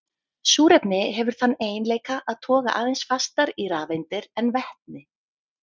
Súrefni hefur þann eiginleika að toga aðeins fastar í rafeindir en vetni.